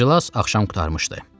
İclas axşam qurtarmışdı.